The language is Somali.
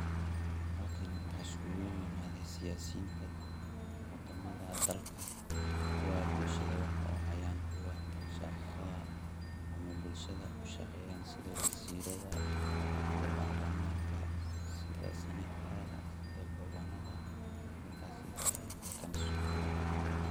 halkan waxaa isku imaade siyaasidinta wadamada dalka kuwa bulshada wax u hayan shaqada ama bulshada ushaqeyaan een sida waziirada, sida barlamanka, sida barlamanka, sida senetarada, sida gafanarada ragaas aya halkan isku imaaden